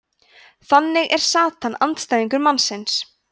þannig er satan andstæðingur mannsins